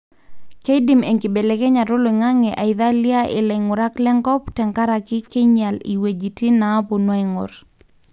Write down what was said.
keidim enkibelekenyata oloingange aithiala ilaingurak lenkop tenkaraki kinyial iweujitin napoonu aingor.